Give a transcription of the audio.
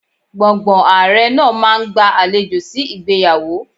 Gbọ̀ǹgbọ̀ǹ Ààrẹ náà máa ń gba àlejò sí ìgbéyàwó.